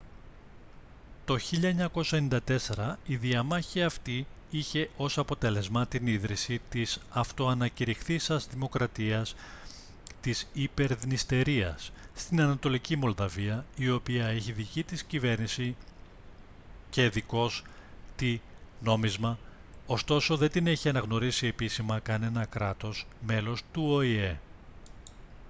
το 1994 η διαμάχη αυτή είχε ως αποτέλεσμα την ίδρυση της αυτοανακυρηχθείσας δημοκρατίας της υπερδνειστερίας στην ανατολική μολδαβία η οποία έχει δική της κυβέρνηση και δικός τη νόμισμα ωστόσο δεν την έχει αναγνωρίσει επίσημα κανένα κράτος μέλος του οηε